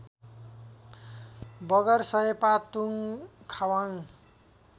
बगर सयपातुङ खावाङ